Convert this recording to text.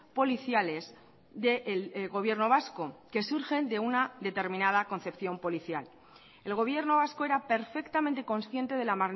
policiales del gobierno vasco que surgen de una determinada concepción policial el gobierno vasco era perfectamente consciente de la